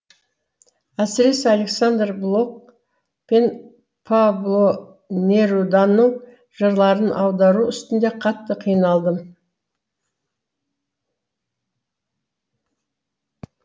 әсіресе александар блок пен пабло неруданың жырларын аудару үстінде қатты қиналдым